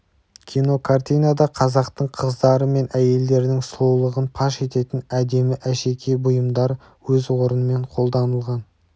кинокартинада қазақтың қыздары мен әйелдерінің сұлулығын паш ететін әдемі әшекей бұйымдар да өз орнымен қолданылған